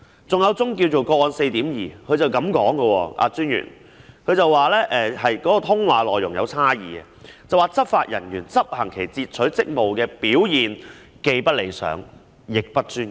關於另一宗個案 4.2， 專員表示經查核後，發現提交小組法官的通話內容有差異，並指執法人員執行其截取職務的表現既不理想，亦不專業。